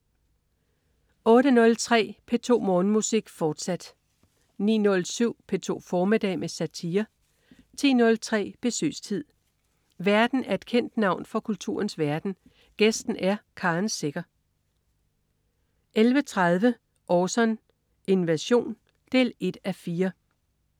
08.03 P2 Morgenmusik, fortsat 09.07 P2 formiddag med satire 10.03 Besøgstid. Værten er et kendt navn fra kulturens verden, gæsten er Karen Secher 11.30 Orson: Invasion 1:4